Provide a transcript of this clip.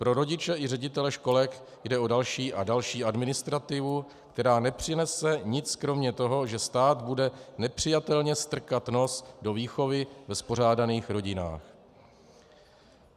Pro rodiče i ředitele školek jde o další a další administrativu, která nepřinese nic kromě toho, že stát bude nepřijatelně strkat nos do výchovy ve spořádaných rodinách.